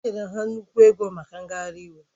O nyere ha nnukwu ego maka ngagharị iwu